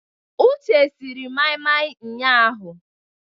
Uche siri mai-mai ụnyahụ.